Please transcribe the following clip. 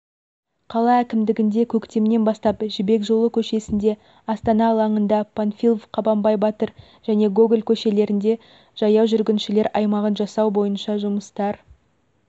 қала әкімдігінде көктемнен бастап жібек жолы көшесінде астана алаңында панфилов қабанбай батыр және гоголь көшелерінде жаяу жүргіншілер аймағын жасау бойынша жұмыстар